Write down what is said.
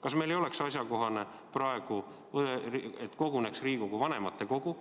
Kas meil ei oleks praegu asjakohane, et koguneks Riigikogu vanematekogu,